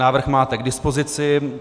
Návrh máte k dispozici.